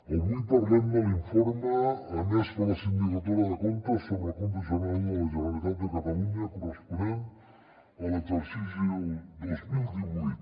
avui parlem de l’informe emès per la sindicatura de comptes sobre el compte general de la generalitat de catalunya corresponent a l’exercici del dos mil divuit